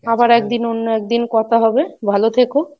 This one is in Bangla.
আবার একদিন অন্য একদিন কথা হবে, ভালো থেকো।